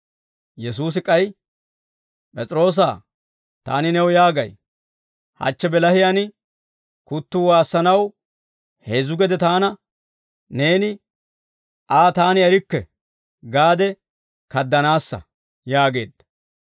Yesuusi k'ay, «P'es'iroosa, taani new yaagay; hachche bilahiyaan, kuttuu waassanaw heezzu gede taana neeni, ‹Aa taani erikke› gaade kaadanaassa» yaageedda.